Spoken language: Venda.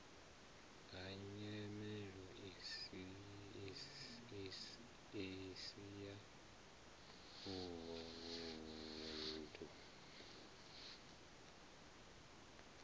ha nyimelo isi ya vhunḓu